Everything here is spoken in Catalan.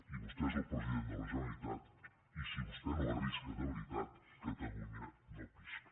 i vostè és el president de la generalitat i si vostè no arrisca de veritat catalunya no pisca